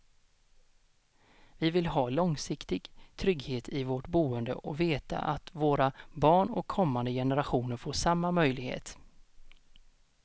Vi vill ha långsiktig trygghet i vårt boende och veta att våra barn och kommande generationer får samma möjlighet.